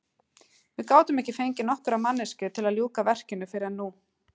Við gátum ekki fengið nokkra manneskju til að ljúka verkinu fyrr en nú.